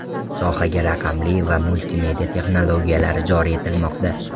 Sohaga raqamli va multimedia texnologiyalari joriy etilmoqda.